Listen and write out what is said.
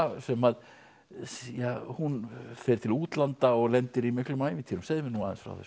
sem að ja hún fer til útlanda og lendir í miklum ævintýrum segðu mér nú aðeins frá þessu